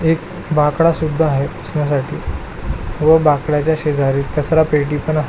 एक बाकडा सुद्धा आहे बसण्यासाठी व बाकड्याच्या शेजारी कचरा पेटी पण आहे.